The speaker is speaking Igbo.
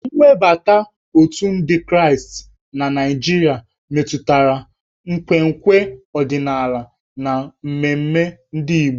Nwebata otù ndị Kraịst na Naịjirịa metụtara nkwenkwe ọdịnala na mmemme ndị Igbo.